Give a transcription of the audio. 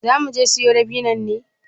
Za muje siyo dabinnon ne?